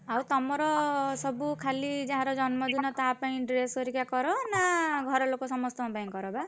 ଆଉ ତମର ସବୁ ଖାଲି ଯାହାର ଜନ୍ମ ଦିନ ତା ପାଇଁ dress ଘରିକା କର ନା ଘର ଲୋକ ସମସ୍ତଙ୍କ ପାଇଁ କର ବା?